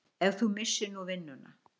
Ef þú missir nú vinnuna.